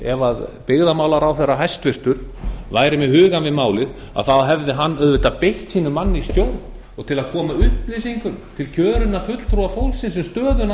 ef byggðamálaráðherra hæstvirtur væri með hugann við málið þá hefði hann auðvitað beint sínum manni í stjórn og til að koma upplýsingum til kjörinna fulltrúa fólksins um stöðuna